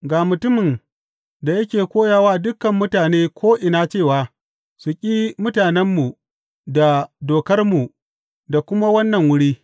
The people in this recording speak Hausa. Ga mutumin da yake koya wa dukan mutane ko’ina cewa su ƙi mutanenmu da dokarmu da kuma wannan wuri.